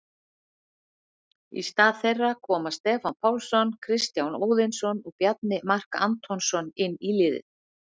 Í stað þeirra koma Stefán Pálsson, Kristján Óðinsson og Bjarni Mark Antonsson inn í liðið.